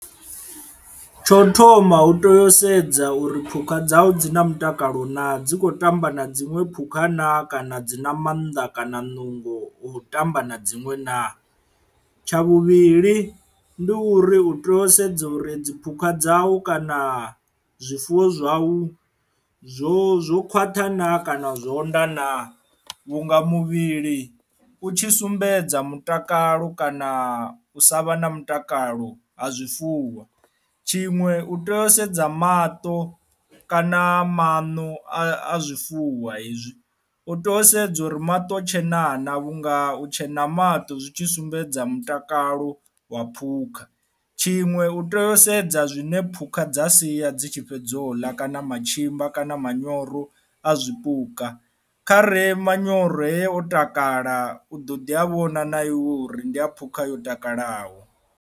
Tsho thoma u to yo sedza uri phukha dzau dzi na mutakalo naa dzi kho tamba na dziṅwe phukha naa kana dzi na mannḓa kana nungo o tamba na dzinwe naa, tsha vhuvhili ndi uri u tea u sedza uri dziphukha dzau kana zwifuwo zwau zwo zwo khwaṱha naa kana zwo onda na vhunga muvhili u tshi sumbedza mutakalo kana u sa vha na mutakalo ha zwifuwo. Tshiṅwe u tea u sedza maṱo kana maṋo a zwifuwa izwi u tea u sedza uri maṱo tshena naa vhunga u tshena ha maṱo zwi tshi sumbedza mutakalo wa phukha, tshiṅwe u tea u sedza zwine phukha dza sia dzi tshi fhedza u ḽa kana matshimba kana manyoro a zwipuka khare manyoro he o takala u ḓo ḓi a vhona na iwe uri ndi a phukha yo takalaho.